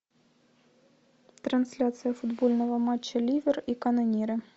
трансляция футбольного матча ливер и канониры